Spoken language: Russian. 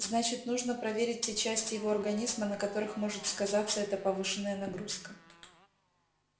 значит нужно проверить те части его организма на которых может сказаться эта повышенная нагрузка